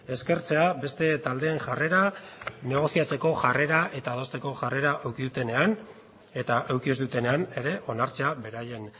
eskertzea beste taldeen jarrera negoziatzeko jarrera eta adosteko jarrera eduki dutenean eta eduki ez dutenean ere onartzea beraien